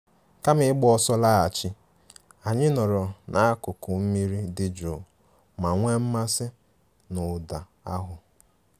Kama ịgba ọsọ laghachi, anyị nọrọ n'akụkụ mmiri dị jụụ ma nwee mmasị na ụda ahụ